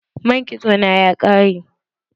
Man kitso na ya ƙare.